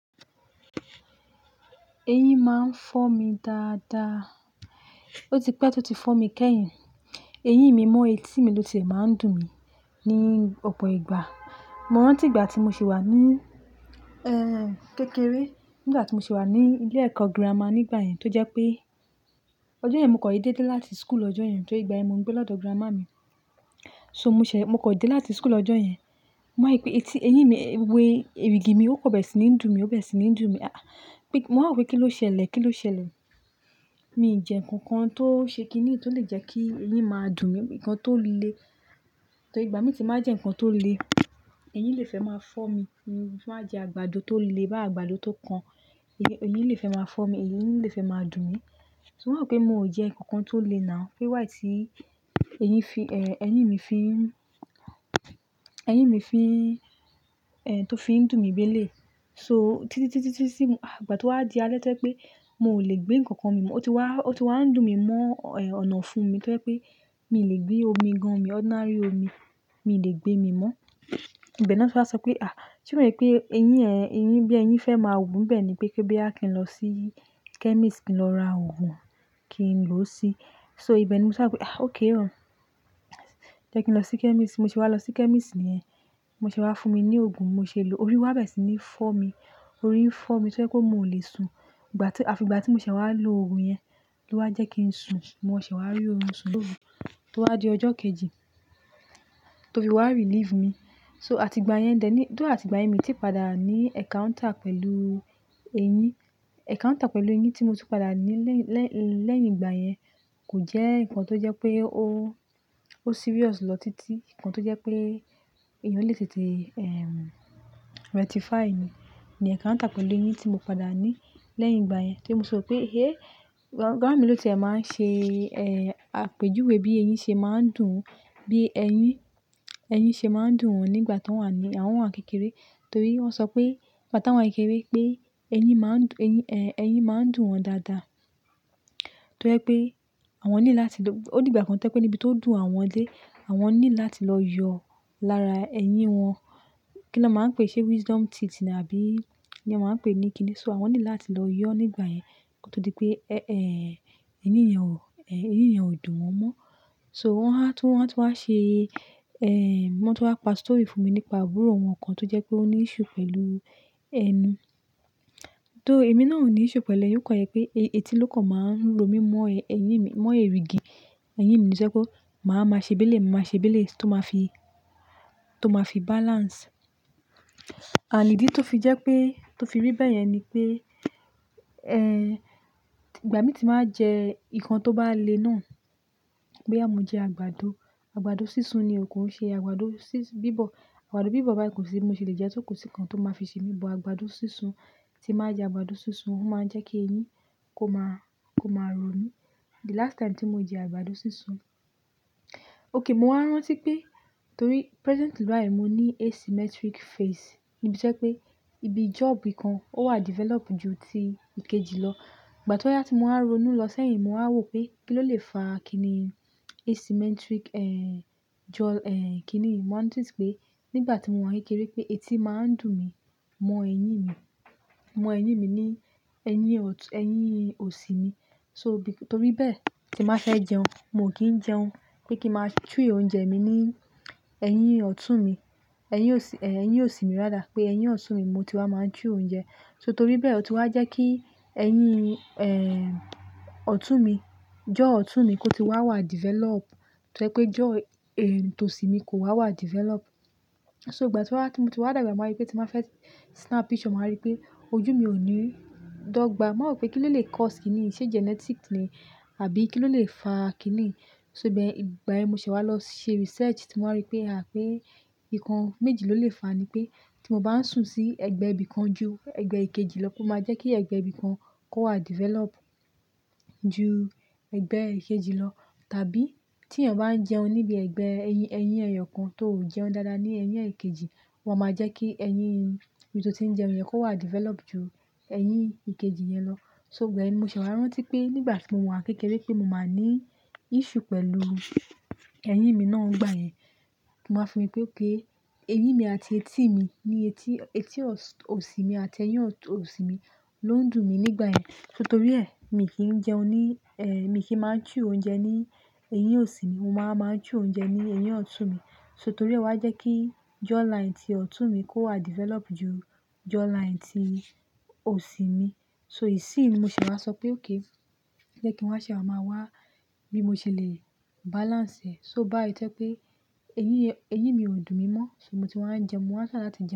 Eyín máa ń fọ́ mi dáadáa. Ó ti pẹ́ tó ti fọ́ mi kẹ́yìn. Eyín mi mọ́ etí mi ló tiẹ̀ máa ń dùn mí ní ọ̀pọ̀ ìgbà. Mo rántí ìgbà tí mo ṣì wà ní, kékeré, nígbà tí mo ṣì wà ní ilé ẹ̀kọ́ girama nígbà yẹn tó jẹ́ pé ọjọ́ yẹn mo kan dédé dé láti school lọ́jọ́ yẹn, torí ìgbà yẹn mò ń gbé lọ́dọ̀ giramá mi. So mo ṣẹ̀, mo kàn dé láti school lọ́jọ́ yẹn. Mo wá rí pé etí, eyín mi, èrìgì mi ó kàn bẹ̀rẹ̀ sí ní dùn mí, ó bẹ̀rẹ̀ sí ní dùn mí. Mo wá wòó pé kí ló ṣẹlẹ̀, kí ló ṣẹlẹ̀? Mi ì jẹ nǹkan kan tó ṣe kiní tó lè jẹ́ kí eyín máa dùn mí, nǹkan tó le. Torí ìgbà míì tí ń bá jẹ nǹkan tó le, eyín lè fẹ́ máa fọ́ mi. Mo bá jẹ àgbàdo tó le báyìí, àgbàdo tó kan, eyín lè fẹ́ máa fọ́ mi, eyín lè fẹ́ máa dùn mí. So mo wá wòó pé mo ò jẹ nǹkan kan tó le now. Pé why tí eyín fi, eyín mi fi n, ẹyín mi fi tó fi ń dùn mi bí eléyìí. So títí, títí, títí tí ìgbà tó wà di alẹ́ tó jẹ́ pé mo ò lè gbé nǹkan kan mì mọ́, ó ti wá, ó ti wá ń dùn mí mọ́, ọ̀nà ọ̀fun mi tó jẹ́ pé mi ò lè gbé omi gan-an mi, ordinary omi, miì lè gbe mì mọ́. Ìbẹ̀ ná ti wá sọ pé, "À! Ṣé kò ń ṣe pé eyín ẹ, eyín bí eyín fẹ́ máa wù ńbẹ̀ ní, pé bóyá kí n lọ sí chemist kí n lọ ra òògùn, kí n lò ó si." So ìbẹ̀ ni mo ti wá wòó pé, "À! Okay o. Jẹ́ kí n lọ sí chemist." Bí mo ṣe wá lọ sí chemist nìyẹn. Bó ṣe wá fún mi ní òògùn, mo ṣe lò ó. Orí wá bẹ̀rẹ̀ sí ní fọ́ mi. Orí ń fọ́ mi tó jẹ́ pé mo ò lè sùn. Ìgbà tí, àfìgbà tí mo ṣẹ̀ wá lo òògùn yẹn ló wá jẹ́ kí n sùn. Mo ṣẹ̀ wá rí oorun sùn lóru tó wá di ọjọ́ kejì tó fi wá relieve mi. So àtìgbà yẹn dẹ̀ ní, though àtìgbà yẹn miì tíì padà ní encounter pẹ̀lú eyín. Encounter pẹ̀lú eyín tí mo tún padà ní lẹ́yìn, lẹ́yìn, lẹ́yìn ìgbà yẹn kò jẹ́ nǹkan tó jẹ́ pé ó, ó serious lọ títí. Nǹkan tó jẹ́ pé èèyàn lè tètè rectify ni. Ni encounter pẹ̀lú eyín tí mo padà ní lẹ́yìn ìgbà yẹn tí mo sọ wípé, "Èé!" Bàámi ló ti ẹ máa ń ṣe, àpèjúwe bí eyín ṣe máa ń dùn wọ́n, bí ẹyín, ẹyín ṣe máa ń dùn wọn nígbà tọ́n wà ní, àwọn wà ń kékeré. Torí wọ́n sọ pé ìgbà táwọn wà kékeré pé eyín máa ń dùn, eyín, ẹyín máa ń dùn wọn dáadáa tó jẹ́ pé àwọn need láti lọ-- ó dìgbà kan tó jẹ́ pé níbi tó dùn àwọn dé, àwọn need láti lọ yọ lára ẹyín wọn. Kí ni wọ́n máa ń pè é ṣe wisdom teeth ni àbí kí ni wọ́n máa ń pè é ní kíni? So àwọn need láti lọ yọọ́ nígbà yẹn kó tó di pé, ẹ́ẹ́, ẹ́ẹ́, ryín yẹn ò, eyín yẹn ò dùn wọ́n mọ́. So wọ́n wá, wọ́n tún wá ṣe, wọ́n tún wá pa story fún mi nípa àbúrò wọn kan tó jẹ́ pé ó ní issue pẹ̀lú ẹnu. Though èmí náà ò ní issue pẹ̀lú eyín, ó kàn jẹ́ pé etí ló kàn máa ń ro mí mọ́ eyín mi, mọ́ erìgì eyín mi ni tó jẹ́ pé máa wá máa ṣe bí eléyìí, màá máa ṣe bí eléyìí tó máa fi, tó máa fi balance. And ìdí tó fi jẹ́ pé, tó fi rí bẹ́yẹn ni pé, ìgbà míì tí ń ba jẹ nǹkan tó bá le náà, bóyá mo jẹ àgbàdo, àgbàdo sísun ni o kò ń ṣe àgbàdo bíbọ̀. Àgbàdo bíbọ̀ báyìí, kò sí bí mo ṣè lè jẹẹ́ tó, kò sí nǹkan tó máa fi ṣe mi. But àgbàdo sísun. Tí n bá jẹ àgbàdo sísun, ó máa ń jẹ́ kí eyín kó máa, kó máa ro mí. The last time tí mo jẹ àgbàdo sísun-- okay, mo wá rántí pé torí presently báyìí mo ní asymmetric face níbi tó jẹ́ pé ibi jaw ibi kan ó wà develop ju ti ìkejì lọ. Ìgbà tó wá yá tí mo wá ronú lọ sẹ́yìn mo wá wò pé kí ló lè fa kiní asymmetric, jaw, kiní? Mo wá notice pé nígbà tí mo wà kékeré pé etí máa ń dùn mí mọ eyín mi, mọ eyín mi ní eyín ọ̀tún, ẹyín òsì mi. So bí, torí bẹ́ẹ̀ tí n bá fẹ́ jẹun, mo ò kí ń jẹun. Pé kí ń máa chew oúnjẹ mi ní ẹyín ọ̀tún mi, ẹyín òsì, ẹyín òsì mi rather pé ẹyín ọ̀tún mi ni mo ti wá máa ń chew oúnjẹ. So torí bẹ́ẹ̀ ó ti wá jẹ́ kí ẹyín ọ̀tún mi, jaw ọ̀tún mi kó ti wá wà develop tó jẹ́ pé jaw tòsì mi kò wá wà develop. So ìgbà tí mo ti wá dàgbà mo wá rí pé tí n bá fẹ́ snap picture mo wá rí pé ojú mi ò ní dọ́gba. Mo wá wòó pé kí ló lè cause kiní? Ṣé genetic ni àbí kí ló lè fa kiní? So bẹ́ẹ̀ ìgbà yẹn n mo ṣẹ̀ wá lọ ṣe research tí mo wá ri pé, à! Pé nǹkan méjì ló lè fàá ni pé tí mo bá sùn sí ẹ̀gbẹ́ ibìkan ju ẹ̀gbẹ́ ìkejì lọ pó máa jẹ́ kí ẹ̀gbẹ́ ibìkan kó wà develop ju ẹ̀gbẹ́ ìkejì lọ. Tàbí tí èèyàn bá ń jẹun níbi ẹ̀gbẹ́ ẹyín, ẹyín ẹ̀yọ̀kan tó ò jẹun dáadáa ní ẹyín èkejì ó máa máa jẹ́ kí ẹyín ibi tó ti ń jẹun yẹn kó wà develop ju ẹyín ìkejì yẹn lọ. So ìgbà ẹ mi ṣẹ̀ wá rántí pé nígbà tí mo wà kékeré pé mo máa ní issue pẹ̀lú ẹyín mi náà nígbà yẹn. Mo wá fi ri pé okay, eyín mi àti etí mi ni etí, etí òsì mi àti ẹyín ọ̀tún, òsì mi ló ń dùn mí nígbà yẹn. So torí ẹ̀ miì kí ń jẹun ní, miì kí máa ń chew oúnjẹ ní eyín òsì mi, mo máa ń wá máa ń chew oúnjẹ ní eyín ọ̀tún mi. So torí ẹ̀, ó wá jẹ́ kí jawline ti ọ̀tún mi kó wà develop ju jawline ti òsì mi. So ìsínyìí ni mo ṣẹ̀ wá sọ pé okay, jẹ́ kí n wá ṣẹ̀ wá máa wá bí mo ṣe lè balance ẹ̀. So báyìí tó jẹ́ pé eyín, eyín mi ò dùn mí mọ́ so mo ti wá ń jẹun, mo wá ń try láti jẹun.